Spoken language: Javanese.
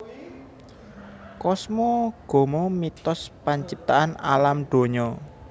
Kosmogomo mitos panciptaan Alam dunya